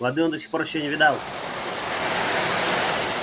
воды он до сих пор ещё не видал